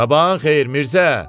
Sabahın xeyir Mirzə.